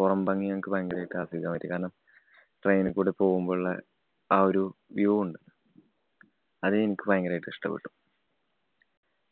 പുറംഭംഗി ഞങ്ങക്ക് ഭയങ്കരമായിട്ട് ആസ്വദിക്കാന്‍ പറ്റി. കാരണം train ന് കൂടെ പോവുമ്പോള്ള ആ ഒരു view ഉണ്ട്. അത് എനിക്ക് ഭയങ്കരായിട്ട് ഇഷ്ടപ്പെട്ടു.